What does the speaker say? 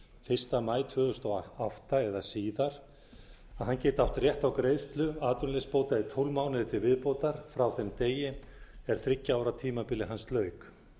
fyrsta maí tvö þúsund og átta eða síðar geti átt rétt á greiðslu atvinnuleysisbóta í tólf mánuði til viðbótar frá þeim degi er þriggja ára tímabili hans lauk